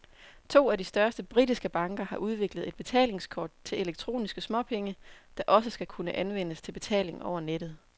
To af de største britiske banker har udviklet et betalingskort til elektroniske småpenge, der også skal kunne anvendes til betaling over nettet.